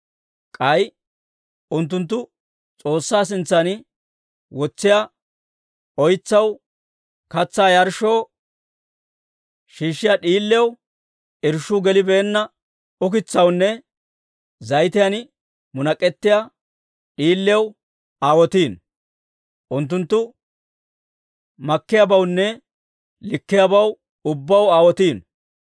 K'ay unttunttu S'oossaa sintsan wotsiyaa oytsaw, katsaa yarshshoo, shiishshiyaa d'iiliyaw, irshshuu gelibeenna oytsawunne zayitiyan munak'ettiyaa d'iiliyaw aawotiino; unttunttu makkiyaabawunne likkiyaabaw ubbaw aawotiino.